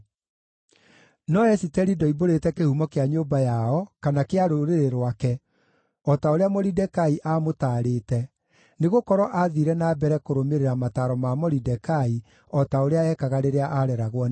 No Esiteri ndoimbũrĩte kĩhumo kĩa nyũmba yao kana kĩa rũrĩrĩ rwake, o ta ũrĩa Moridekai aamũtaarĩte, nĩgũkorwo aathiire na mbere kũrũmĩrĩra mataaro ma Moridekai o ta ũrĩa ekaga rĩrĩa aareragwo nĩwe.